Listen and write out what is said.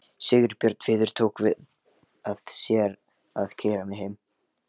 Sigurbjörn Víðir tók að sér að keyra mig heim.